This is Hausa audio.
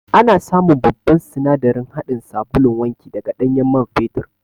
Ana samun babban sinadarin haɗin sabulun wanki daga ɗanyen man fetur